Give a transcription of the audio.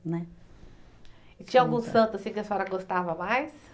Né. E tinha algum santo assim que a senhora gostava mais?